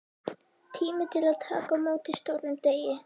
Tími til að taka á móti stórum degi.